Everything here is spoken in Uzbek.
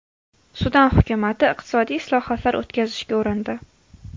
Sudan hukumati iqtisodiy islohotlar o‘tkazishga urindi.